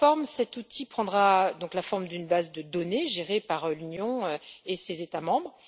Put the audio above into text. Cet outil prendra la forme d'une base de données gérée par l'Union et ses États membres.